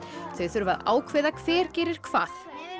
þau þurfa að ákveða hver gerir hvað